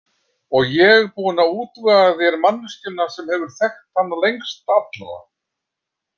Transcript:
Og ég búin að útvega þér manneskjuna sem hefur þekkt hana lengst allra!